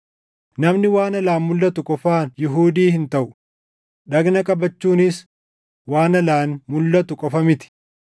Namni waan alaan mulʼatu qofaan Yihuudii hin taʼu; dhagna qabachuunis waan alaan mulʼatu qofa miti.